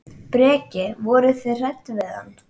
Breki: Voruð þið hrædd við hann?